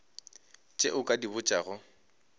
tše o ka di botšago